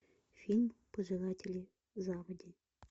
фильм пожиратели заводи